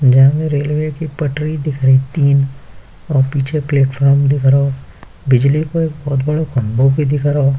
जहां पर रेलवे की पटरी दिख रही तीन और पीछे प्लेटफार्म दिख रहा बिजली का बहुत बड़ा खंभा भी दिख रहा --